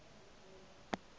o ka re o duma